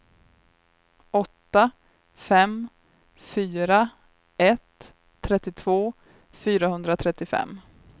åtta fem fyra ett trettiotvå fyrahundratrettiofem